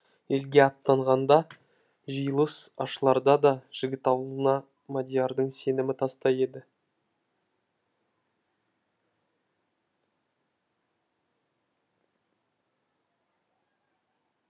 елге аттанғанда да жиылыс ашыларда да жігіт алуына мадиярдың сенімі тастай еді